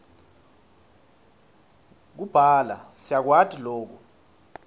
kubhala siyakwati loku